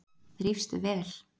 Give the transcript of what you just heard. Þrífst vel.